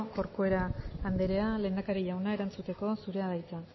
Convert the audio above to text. corcuera anderea lehendakari jauna erantzuteko zurea da hitza